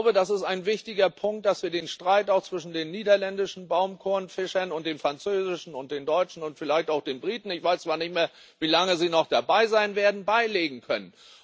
Das ist ein wichtiger Punkt, damit wir den Streit auch zwischen den niederländischen Baumkurrenfischern und den französischen und den deutschen und vielleicht auch den britischen ich weiß zwar nicht, wie lange sie noch dabei sein werden beilegen können.